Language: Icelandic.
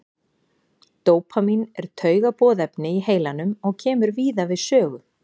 dópamín er taugaboðefni í heilanum og kemur víða við sögu